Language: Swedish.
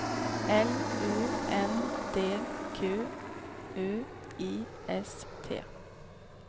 L U N D Q U I S T